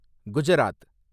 Gujarat